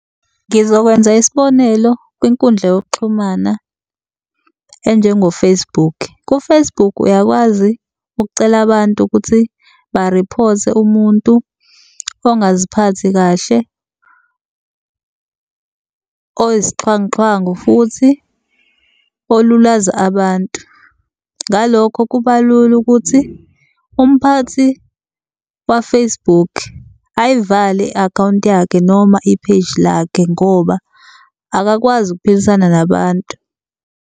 Ngizokwenza isibonelo kwinkundla yokuxhumana enjengo-Facebook. Ku-Facebook uyakwazi ukucela abantu ukuthi ba-report-e muntu ongaziphathi kahle oyisixhwanguxhwangu, futhi olulaza abantu. Ngalokho, kuba lula ukuthi umphathi wa-Facebook aiyivale i-akhawunti yakhe noma i-page lakhe ngoba akakwazi ukuphilisana nabantu.